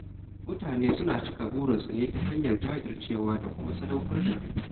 Mutane suna cika burikansu ne ta hanyar jajircewa da kuma sadaukar da kai.